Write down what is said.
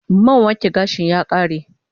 Man wanke gashin ya ƙare